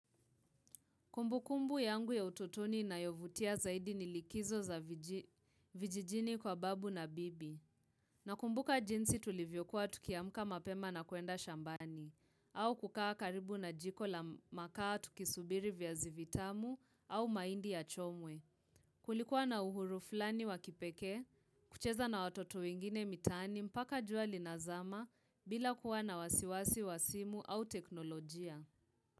Kumbukumbu yangu ya utotoni inayovutia zaidi ni likizo za vijijini kwa babu na bibi. Nakumbuka jinsi tulivyokuwa tukiamka mapema na kuenda shambani. Au kukaa karibu na jiko la makaa tukisubiri viazi vitamu au mahindi ya chomwe. Kulikuwa na uhuru fulani wa kipekee, kucheza na watoto wengine mitani mpaka jua linazama bila kuwa na wasi wasi wa simu au teknolojia.